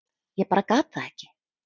Ég bara gat það ekki.